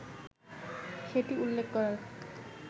সেটি উল্লেখ করার